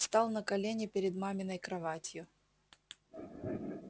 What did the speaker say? встал на колени перед маминой кроватью